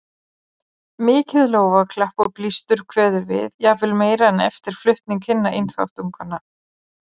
Mikið lófaklapp og blístur kveður við, jafnvel meira en eftir flutning hinna einþáttunganna.